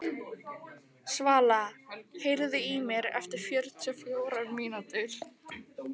Svala, heyrðu í mér eftir fjörutíu og fjórar mínútur.